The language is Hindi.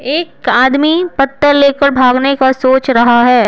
एक आदमी पत्थर लेकर भागने का सोच रहा है।